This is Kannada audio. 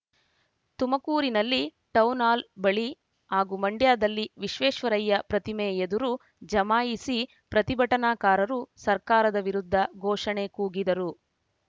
ತುಮಕೂರಿನಲ್ಲಿ ಟೌನ್‌ ಹಾಲ್‌ ಬಳಿ ಹಾಗೂ ಮಂಡ್ಯದಲ್ಲಿ ವಿಶ್ವೇಶ್ವರಯ್ಯ ಪ್ರತಿಮೆ ಎದುರು ಜಮಾಯಿಸಿ ಪ್ರತಿಭಟನಾಕಾರರು ಸರ್ಕಾರದ ವಿರುದ್ಧ ಘೋಷಣೆ ಕೂಗಿದರು